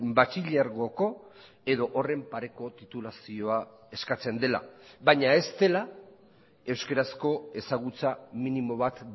batxilergoko edo horren pareko titulazioa eskatzen dela baina ez dela euskarazko ezagutza minimo bat